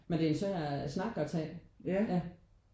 Men det er en svær snak at tage ja